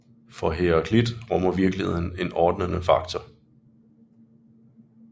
For Heraklit rummer virkeligheden en ordnende faktor